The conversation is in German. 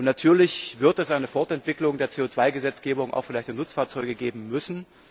Natürlich wird es eine Fortentwicklung der CO 2 Gesetzgebung auch für leichte Nutzfahrzeuge geben müssen.